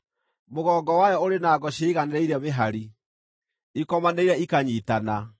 Mũgongo wayo ũrĩ na ngo ciĩiganĩrĩire mĩhari, ikomanĩire ikanyiitana;